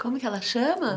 Como é que ela chama?